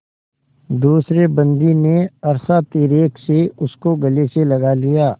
दूसरे बंदी ने हर्षातिरेक से उसको गले से लगा लिया